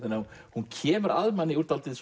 hún kemur að manni úr dálítið